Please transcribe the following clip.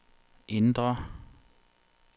indre